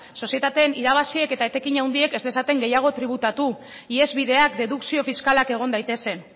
sozietateen irabaziek eta etekin handiek ez dezaten gehiago tributatu ihesbideak dedukzio fiskalak egon daitezen